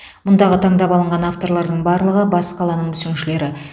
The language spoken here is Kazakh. мұндағы таңдап алынған авторлардың барлығы бас қаланың мүсіншілері